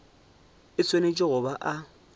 e swanetše go ba a